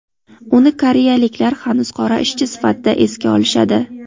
Uni koreyaliklar hanuz qora ishchi sifatida esga olishadi.